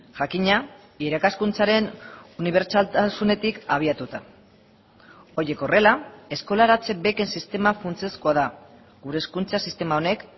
jakina irakaskuntzaren unibertsaltasunetik abiatuta horiek horrela eskolaratze beken sistema funtsezkoa da gure hezkuntza sistema honek